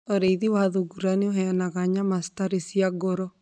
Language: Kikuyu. Ũrĩithi wa thungura nĩ ũheanaga nyama citarĩ cia goro.